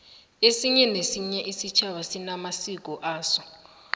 esinye nesinye isitjhaba sinamasiko aso